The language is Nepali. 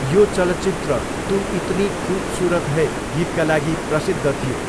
यो चलचित्र तु इतनी खुबसुरत है गीतका लागि प्रसिद्ध थियो।